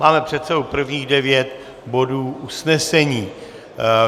Máme před sebou prvních devět bodů usnesení.